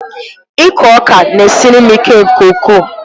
Ịkụ ọka na-esiri m ike nke ukwuu.